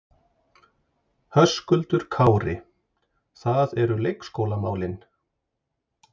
Höskuldur Kári: Það eru leikskólamálin?